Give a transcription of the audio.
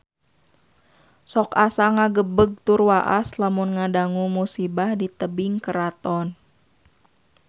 Sok asa ngagebeg tur waas lamun ngadangu musibah di Tebing Keraton